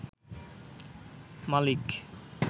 মালিক